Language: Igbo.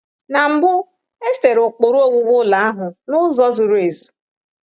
Na mbụ, e sere ụkpụrụ owuwu ụlọ ahụ n’ụzọ zuru ezu.